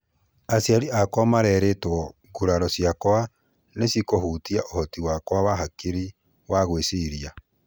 Aciari akwa marerigwo nguraro ciakwa nĩcĩkũhutia uhoti wa hakiri ciakwa wa gwĩciria.